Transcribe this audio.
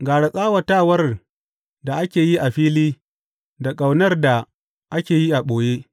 Gara tsawatawar da ake yi a fili da ƙaunar da ake yi a ɓoye.